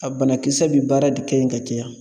A banakisɛ bi baara de kɛ ye ka caya.